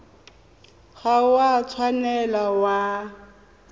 ga o a tshwanela wa